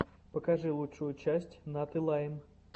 покажи лучшую часть наты лайм